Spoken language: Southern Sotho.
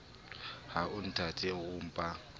ha o nthate o mpa